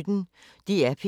DR P1